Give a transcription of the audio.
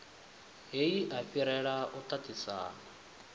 heyi a fhirela u tatisana